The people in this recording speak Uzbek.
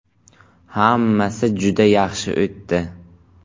Hammasi juda yaxshi o‘tdi.